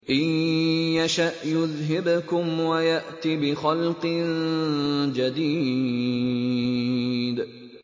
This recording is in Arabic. إِن يَشَأْ يُذْهِبْكُمْ وَيَأْتِ بِخَلْقٍ جَدِيدٍ